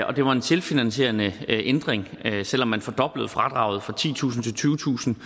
og det var en selvfinansierende ændring selv om man fordoblede fradraget fra titusind til tyvetusind